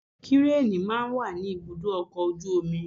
Kírení máa ń wà ní ibùdó ọkọ̀ ojú omi.